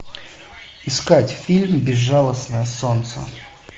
искать фильм безжалостное солнце